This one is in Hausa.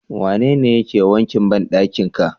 Wanene yake wankin bandakin ka?